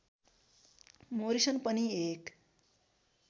Morrison पनि एक